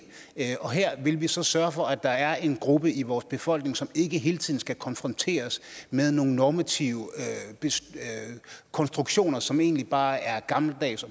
og her vil vi så sørge for at der er en gruppe i vores befolkning som ikke hele tiden skal konfronteres med nogle normative konstruktioner som egentlig bare er gammeldags